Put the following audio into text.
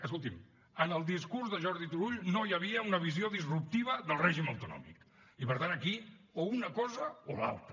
escolti’m en el discurs de jordi turull no hi havia una visió disruptiva del règim autonòmic i per tant aquí o una cosa o l’altra